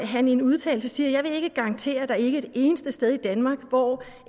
han i en udtalelse siger jeg vil ikke garantere at der ikke er et eneste sted i danmark hvor